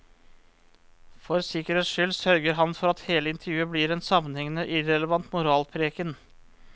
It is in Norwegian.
For sikkerhets skyld sørger han for at hele intervjuet blir en sammenhengende, irrelevant moralpreken.